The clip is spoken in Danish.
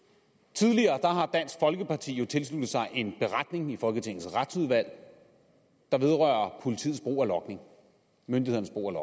tidligere har dansk folkeparti jo tilsluttet sig en beretning i folketingets retsudvalg der vedrører politiets brug af logning myndighedernes brug af